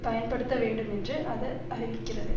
பயன்படுத்த வேண்டும் என்று அது அறிவிக்கிறது